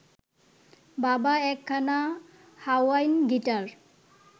বাবা একখানা Hawaiian guitar